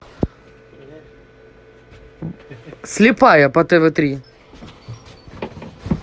слепая по тв три